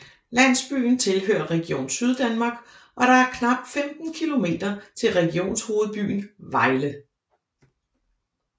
Landsbyen tilhører Region Syddanmark og der er knap 15 kilometer til regionshovedbyen Vejle